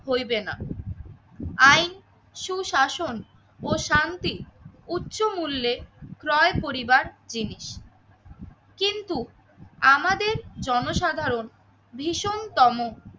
হইবে না। আইন সুশাসন ও শান্তি উচ্চমূল্যে ক্রয় করিবার জিনিস কিন্তু আমাদের জনসাধারণ ভীষণতম